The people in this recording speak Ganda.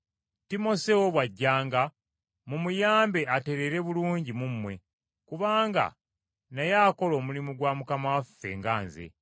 Timoseewo bw’ajjanga, mumuyambe atereere bulungi mu mmwe, kubanga naye akola omulimu gwa Mukama waffe nga nze.